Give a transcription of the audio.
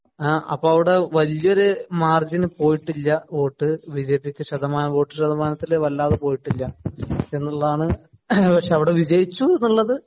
അപ്പൊ അവിടെ വലിയൊരു മാര്‍ജിന്‍ പോയിട്ടില്ല വോട്ട് ബിജെപിക്ക് ശതമാന വോട്ട് ശതമാനത്തില്‍ വല്ലാതെ പോയിട്ടില്ല എന്നുള്ളതാണ്. പക്ഷെ അവിടെ വിജയിച്ചു എന്നുള്ളത്